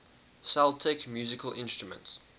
celtic musical instruments